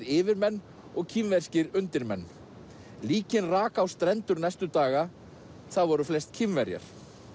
yfirmenn og kínverskir undirmenn líkin rak á strendur næstu daga það voru flest Kínverjar